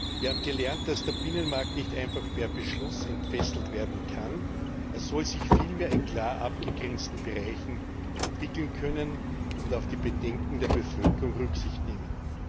Wir haben gelernt, dass der Binnenmarkt nicht einfach per Beschluss entfesselt werden kann, er soll sich vielmehr in klar abgegrenzten Bereichen entwickeln können und auf die Bedenken der Bevölkerung Rücksicht nehmen.